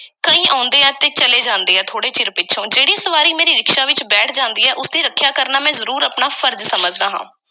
ਕਈ ਆਉਂਦੇ ਐ ਤੇ ਚਲੇ ਜਾਂਦੇ ਐ, ਥੋੜ੍ਹੇ ਚਿਰ ਪਿੱਛੋਂ। ਜਿਹੜੀ ਸਵਾਰੀ ਮੇਰੇ ਰਿਕਸ਼ਾ ਵਿੱਚ ਬੈਠ ਜਾਂਦੀ ਐ, ਉਸਦੀ ਰੱਖਿਆ ਕਰਨਾ ਜ਼ਰੂਰ ਮੈਂ ਆਪਣਾ ਫ਼ਰਜ਼ ਸਮਝਦਾ ਹਾਂ।